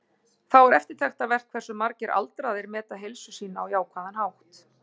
Þá er eftirtektarvert hversu margir aldraðir meta heilsu sína á jákvæðan hátt.